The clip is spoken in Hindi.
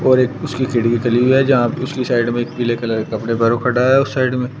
और एक उसकी खिड़की खुली हुई है जहां पे उसकी साइड में एक पीले कलर का कपड़े पहने खड़ा है उस साइड में --